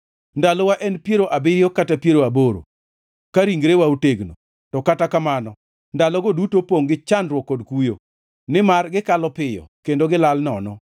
Ndalowa en piero abiriyo kata piero aboro, ka ringrewa otegno; to kata kamano ndalogo duto opongʼ gi chandruok kod kuyo, nimar gikalo piyo, kendo gilal nono.